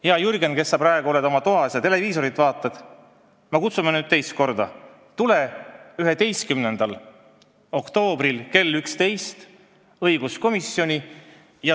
Hea Jürgen, kes sa praegu oled oma toas ja vaatad televiisorit, me kutsume nüüd teist korda: tule 11. oktoobril kell 11 õiguskomisjoni!